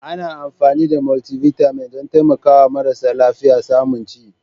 Ana amfani da Multivitamin don taimakawa marasa lafiya samun ci.